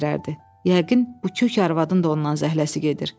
Yəqin bu kök arvadın da ondan zəhləsi gedir.